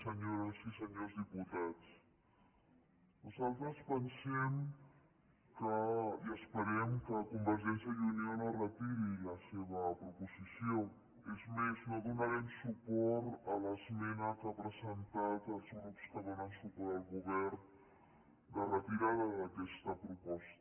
senyores i senyors diputats nosaltres pensem i esperem que convergència i unió no retiri la seva proposició és més no donarem suport a l’esmena que han presentat els grups que donen suport al govern de retirada d’aquesta proposta